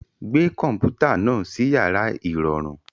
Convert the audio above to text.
Gbé kọ̀m̀pútà náà sí yàrá ìrọ̀rùn.